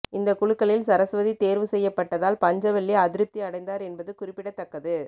இந்த குலுக்கலில் சரஸ்வதி தேர்வுசெய்யப்பட்டதால் பஞ்சவள்ளி அதிருப்தி அடைந்தார் என்பது குறிப்பிடத்தக்கது